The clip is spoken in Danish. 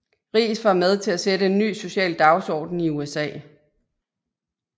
Riis var med til at sætte en ny social dagsorden i USA